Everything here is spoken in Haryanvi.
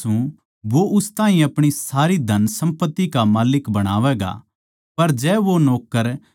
मै थमनै साच्ची कहूँ सूं वो उस ताहीं अपणी सारी धनसम्पत्ति का माल्लिक बणावैगा